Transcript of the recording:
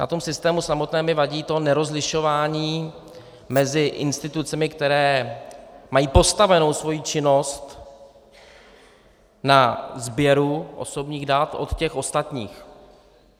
Na tom systému samotném mi vadí to nerozlišování mezi institucemi, které mají postavenu svoji činnost na sběru osobních dat od těch ostatních.